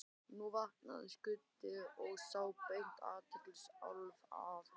Nú vaknaði Skundi og þá beindist athygli Álfs að honum.